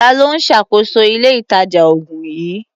Ta ló ń ṣàkóso ilé-ìtàjà-oògùn yìí?